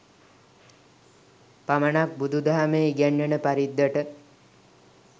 පමණක් බුදුදහමේ ඉගැන්වෙන පරිද්දට